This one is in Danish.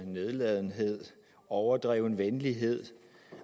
nedladenhed overdreven venlighed